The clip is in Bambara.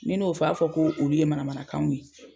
Ni ne y'o fɔ, a b'a fɔ ko olu ye manamanakanw ye.